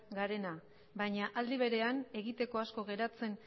garena baina aldi berean egiteko asko geratzen